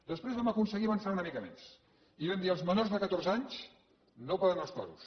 després vam aconseguir avançar una mica més i vam dir els menors de catorze anys no poden anar als toros